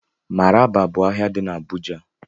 Maraba bụ ahịa dị n'Abuja